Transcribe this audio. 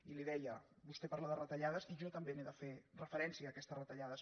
i li deia vostè parla de retallades i jo també hi he de fer referència a aquestes retallades